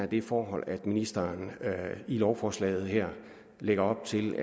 det forhold at ministeren i lovforslaget her lægger op til